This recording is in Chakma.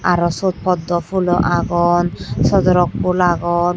aro suot poddo phulo agon sodorok phul agon.